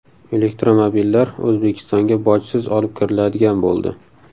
Elektromobillar O‘zbekistonga bojsiz olib kiriladigan bo‘ldi.